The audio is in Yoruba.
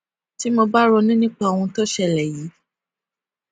tí mo bá ronú nípa ohun tó ṣẹlè yìí